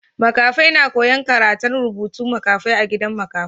Makafai na koya'n karantan rubutun makafai a gidan makafai.